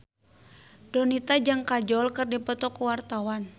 Donita jeung Kajol keur dipoto ku wartawan